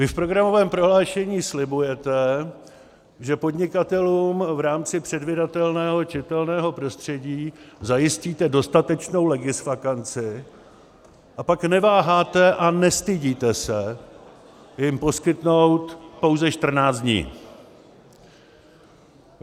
Vy v programovém prohlášení slibujete, že podnikatelům v rámci předvídatelného čitelného prostředí zajistíte dostatečnou legisvakanci, a pak neváháte a nestydíte se jim poskytnout pouze 14 dní.